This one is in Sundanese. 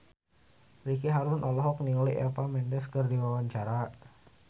Ricky Harun olohok ningali Eva Mendes keur diwawancara